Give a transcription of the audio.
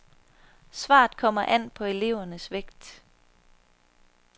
Svaret kommer an på elevernes vægt.